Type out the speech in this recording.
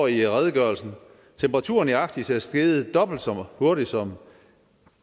i redegørelsen temperaturen i arktis er steget dobbelt så hurtigt som